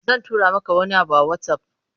Zan tura maka wani abu a WhatsApp.